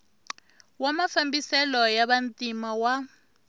wa mafambiselo ya vantima wa